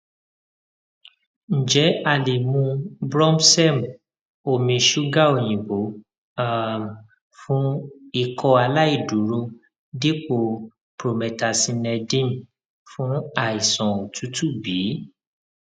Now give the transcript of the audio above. njẹ a le mu brompsedm omi ṣuga oyinbo um fun ikọ aláìdúró dipo promethazinedm fun aisan otutu bi